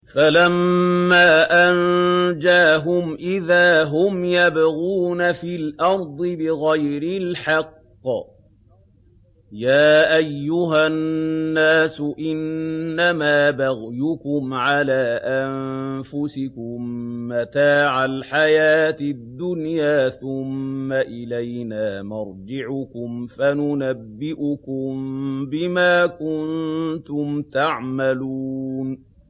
فَلَمَّا أَنجَاهُمْ إِذَا هُمْ يَبْغُونَ فِي الْأَرْضِ بِغَيْرِ الْحَقِّ ۗ يَا أَيُّهَا النَّاسُ إِنَّمَا بَغْيُكُمْ عَلَىٰ أَنفُسِكُم ۖ مَّتَاعَ الْحَيَاةِ الدُّنْيَا ۖ ثُمَّ إِلَيْنَا مَرْجِعُكُمْ فَنُنَبِّئُكُم بِمَا كُنتُمْ تَعْمَلُونَ